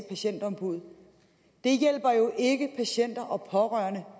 patientombuddet det hjælper jo ikke patienter og pårørende